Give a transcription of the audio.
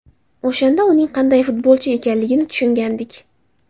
O‘shanda uning qanday futbolchi ekanligini tushungandik.